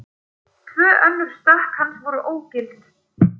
Tvö önnur stökk hans voru ógild